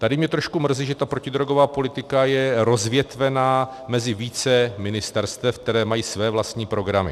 Tady mě trošku mrzí, že ta protidrogová politika je rozvětvena mezi více ministerstev, která mají své vlastní programy.